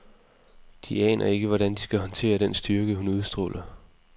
De aner ikke, hvordan de skal håndtere den styrke, hun udstråler.